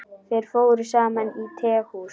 Þeir fóru saman á tehús.